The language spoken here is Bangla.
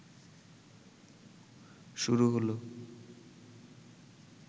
শুরু হল